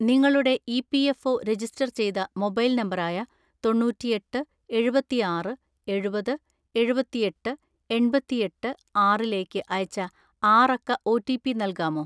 നിങ്ങളുടെ EPFO ​​register ചെയ്ത mobile നമ്പറായ തൊണ്ണൂറ്റിഎട്ട് എഴുപത്തിആറ് എഴുപത് എഴുപത്തിഎട്ട് എണ്‍പത്തിഎട്ട് ആറിലേക്ക് അയച്ച ആറക്ക ഒ. റ്റി. പി നൽകാമോ?